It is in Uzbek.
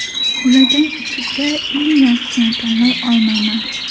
Ulardan ichida eng yaxshisini tanlay olmayman.